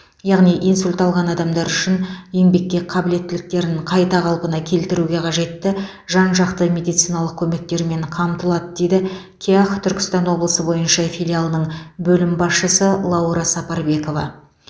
яғни инсульт алған адамдар үшін еңбекке қабілеттіліктерін қайта қалпына келтіруге қажетті жан жақты медициналық көмектермен қамтылады дейді кеақ түркістан облысы бойынша филиалының бөлім басшысы лаура сапарбекова